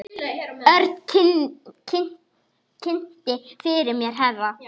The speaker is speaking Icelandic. Örn kynnti fyrir mér herra